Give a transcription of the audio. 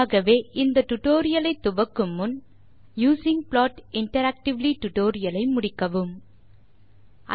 ஆகவே இந்த டியூட்டோரியல் ஐ துவக்கும் முன் யூசிங் ப்ளாட் இன்டராக்டிவ்லி டியூட்டோரியல் ஐ முடிக்கும்படி கேட்டுக்கொள்கிறோம்